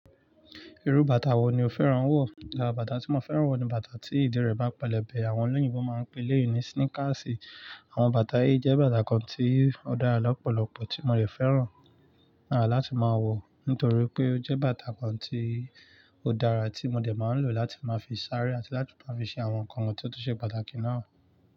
Irú bàtà wo ni o fẹ́ràn wọ̀? Bàtà tí mo fẹ́ràn wọ̀ ni bàtà tí ìdí rẹ̀ bá pẹlẹbẹ, àwọn olóyìnbo máa ń pè léyìn ní sneakers. Àwọn bàtà yìí jẹ́ bàtà kan tí ó dára lọ́pọ̀lọpọ̀ tí mo lè fẹ́ràn rà láti máa wọ̀ nítorí pé ó jẹ́ bàtà kan tí ó dára tí mo dẹ máa ń lò láti máa fi sáré àti láti tun máa fi ṣe àwọn nǹkan wọ́n tun ṣe pàtàkì náà.